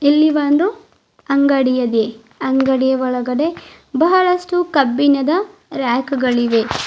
ಇಲ್ಲಿ ಒಂದು ಅಂಗಡಿಯದಿ ಅಂಗಡಿಯ ಒಳಗಡೆ ಬಹಳಷ್ಟು ಕಬ್ಬಿಣದ ರ್ಯಾಕ್ ಗಳಿವೆ.